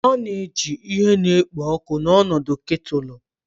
A na-eji ihe na-ekpo ọkụ n'ọnọdụ ketulu